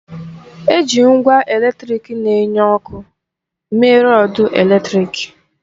Eji ngwa eletrịk na-enye ọkụ mee rọdu eletrịk.